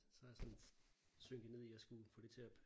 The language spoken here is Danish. Så er jeg sådan synket ned i at skulle få det til at